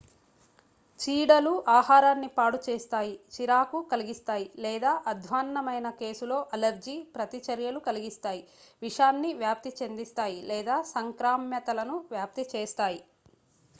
చీడలు ఆహారాన్ని పాడు చేస్తాయి చిరాకు కలిగిస్తాయి లేదా అధ్వాన్నమైన కేసులో అలెర్జీ ప్రతిచర్యలు కలిగిస్తాయి విషాన్ని వ్యాప్తి చెందిస్తాయి లేదా సంక్రామ్యతలను వ్యాప్తి చేస్తాయి